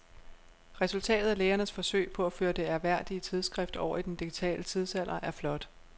Resultatet af lægernes forsøg på at føre det ærværdige tidsskrift over i den digitale tidsalder er flot.